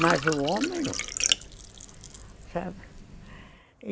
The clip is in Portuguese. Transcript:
Mas o homem não, sabe.